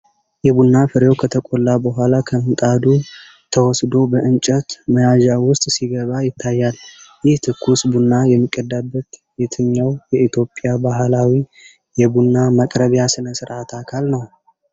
የቡና ፍሬው ከተቆላ በኋላ ከምጣዱ ተወስዶ በእንጨት መያዣ ውስጥ ሲገባ ይታያል። ይህ ትኩስ ቡና የሚቀዳበት የትኛው የኢትዮጵያ ባህላዊ የቡና ማቅረቢያ ስነ ስርዓት አካል ነው?